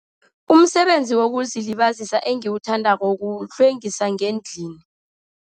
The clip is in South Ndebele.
Umsebenzi wokuzilibazisa engiwuthandako kuhlwengisa ngendlini.